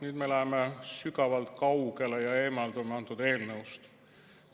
Nüüd me läheme sügavalt kaugele ja eemaldume antud eelnõust.